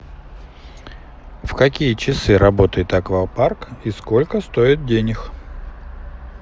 в какие часы работает аквапарк и сколько стоит денег